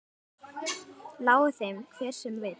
Lái þeim hver sem vill.